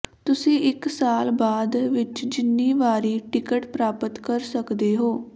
ਤੁਸੀਂ ਇੱਕ ਸਾਲ ਬਾਅਦ ਵਿੱਚ ਜਿੰਨੀ ਵਾਰੀ ਟਿਕਟ ਪ੍ਰਾਪਤ ਕਰ ਸਕਦੇ ਹੋ